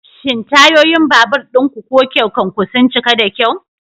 Shin tayoyin babur ɗinku ko keken ku sun cika da kyau?